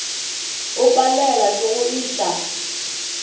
o palelwa ke go iša